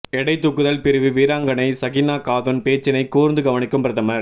எடைத் தூக்குதல் பிரிவு வீராங்கனை சகினா காதுன் பேச்சினைக் கூர்ந்து கவனிக்கும் பிரதமர்